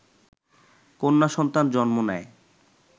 কন্যা সন্তান জন্ম নেয়